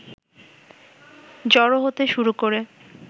জড়ো হতে শুরু করে